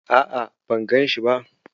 A'a, ban ganshi ba.